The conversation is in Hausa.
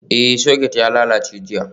Ee, Socket ya lalace jiya.